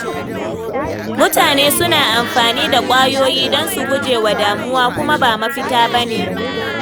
Mutane suna amfani da ƙwayoyi don su guje wa damuwa, kuma ba mafita ba ne.